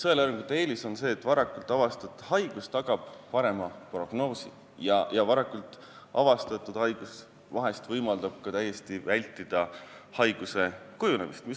Sõeluuringute eelis on see, et varakult avastatud haigus tagab parema prognoosi ja varakult avastatud haigus võimaldab vahel ka täiesti vältida haiguse kujunemist.